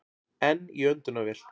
Enn í öndunarvél